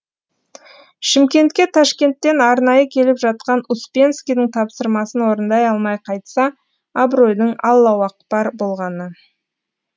шымкентке ташкенттен арнайы келіп жатқан успенскийдің тапсырмасын орындай алмай қайтса абыройдың аллауақпар болғаны